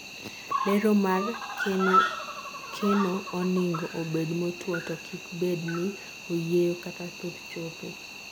dero mar kenooningo obed motuo to kik bed ne oyieyo kata thuth chope